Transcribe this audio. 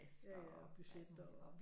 Ja ja budget og